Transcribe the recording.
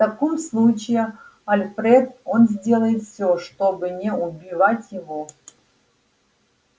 в таком случае альфред он сделает все чтобы не убивать его